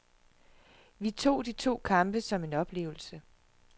Vi tog de to kampe som en oplevelse.